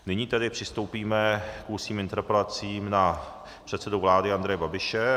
Nyní tedy přistoupíme k ústním interpelacím na předsedu vlády Andreje Babiše.